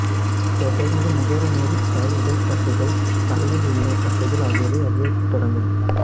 தொடர்ந்து முகர நேரிட்டால் உடல் தசைகள் தலையில் உள்ள தசைகள் ஆகியவை அழியத்தொடங்கும்